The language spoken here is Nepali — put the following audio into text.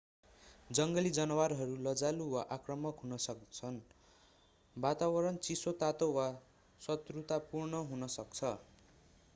जङ्गली जनावरहरू लजालु वा आक्रामक हुन सक्छन् वातावरण चिसो तातो वा शत्रुतापूर्ण हुन सक्छ